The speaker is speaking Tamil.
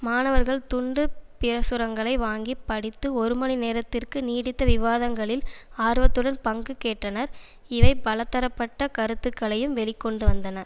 மாணவர்கள் துண்டு பிரசுரங்களை வாங்கிப் படித்து ஒரு மணி நேரத்திற்கு நீடித்த விவாதங்களில் ஆர்வத்துடன் பங்கு கேற்றனர் இவை பலதரப்பட்ட கருத்துக்களையும் வெளிக்கொண்டுவந்தன